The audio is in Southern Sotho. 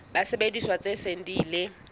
disebediswa tse seng di ile